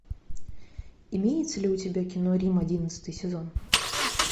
имеется ли у тебя кино рим одиннадцатый сезон